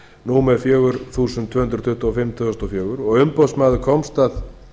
númer fjögur þúsund tvö hundruð tuttugu og fimm tvö þúsund og fjögur umboðsmaður komst að